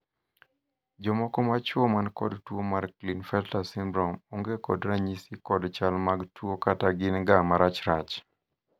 jomoko ma chuo manikod tuo mar Klinefelter syndrome onge kod ranyisi kod chal mag tuo kata gin ga marach rach